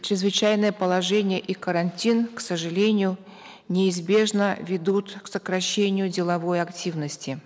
чрезвычайное положение и карантин к сожалению неизбежно ведут к сокращению деловой активности